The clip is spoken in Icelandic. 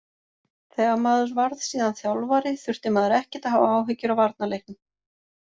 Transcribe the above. Þegar maður varð síðan þjálfari þurfti maður ekkert að hafa áhyggjur af varnarleiknum.